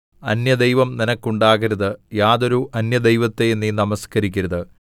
അന്യദൈവം നിനക്ക് ഉണ്ടാകരുത് യാതൊരു അന്യദൈവത്തെയും നീ നമസ്കരിക്കരുത്